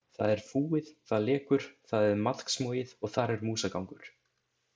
Það er fúið, það lekur, það er maðksmogið og þar er músagangur.